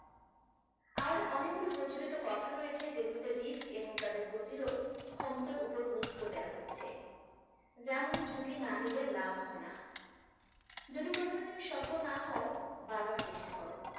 আরো অনেকগুলো প্রচলিত কথা রয়েছে যে এবং তাদের প্রতিরোধ ক্ষমতার উপর গুরুত্ব দেওয়া হয়েছে । যেমন ঝুঁকি না নিলে লাভ হয় না । যদি কখনো তুমি সফল না হও বারবার চেষ্টা করো।